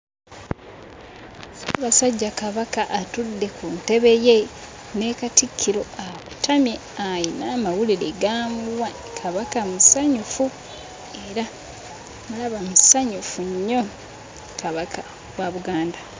Ssaabasajja Kabaka atudde ku ntebe ye ne Katikkiro akutamye ayina amawulire g'amuwa Kabaka musanyufu era ndaba musanyufu nnyo Kabaka wa Buganda.